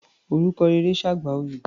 Orúkọ rere ṣe àgbà oyè.